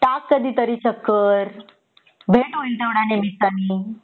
टाक कधीतरी चक्कर भेट होईल त्या निमित्तानी